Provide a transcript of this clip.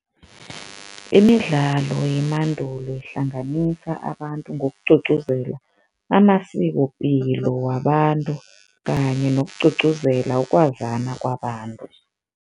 Imidlalo yemandulo ihlanganisa abantu ngokugcugcuzela amasikopilo wabantu kanye nokugcugcuzela ukwazana kwabantu.